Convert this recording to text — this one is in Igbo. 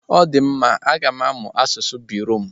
Ọdịmma, aga m amụ asụsụ Birọm.